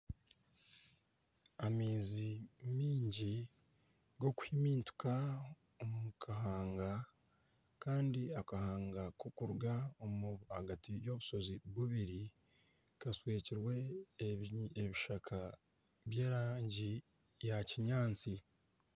Amaizi mingi g'okuhimintika omu kahanga, kandi akahanga k'okuruga ahagati y'obushozi bubiri kashwekirwe ebishaka by'erangi ya kinyaatsi.